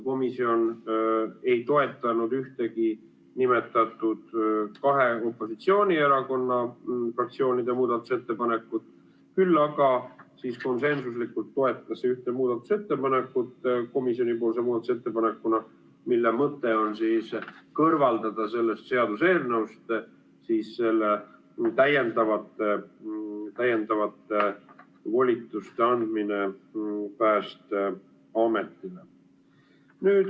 Komisjon ei toetanud ühtegi nimetatud kahe opositsioonierakonna fraktsiooni muudatusettepanekut, küll aga konsensuslikult toetas ühte komisjoni muudatusettepanekut, mille mõte on kõrvaldada sellest seaduseelnõust täiendavate volituste andmine Päästeametile.